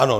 Ano.